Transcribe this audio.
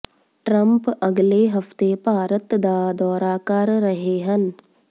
Trump ਅਗਲੇ ਹਫਤੇ ਭਾਰਤ ਦਾ ਦੌਰਾ ਕਰ ਰਹੇ ਹਨ